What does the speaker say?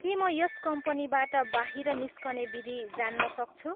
के म यस कम्पनीबाट बाहिर निस्कने विधि जान्न सक्छु?